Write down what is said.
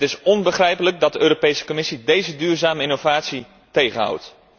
Het is onbegrijpelijk dat de Europese Commissie deze duurzame innovatie tegenhoudt.